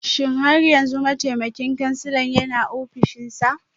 Shin har yanzu mataimakin kansila yana ofishinsa?